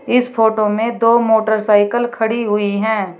इस फोटो में दो मोटरसाइकिल खड़ी हुई हैं।